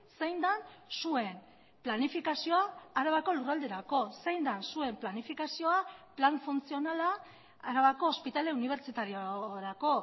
zein den zuen planifikazioa arabako lurralderako zein den zuen planifikazioa plan funtzionala arabako ospitale unibertsitariorako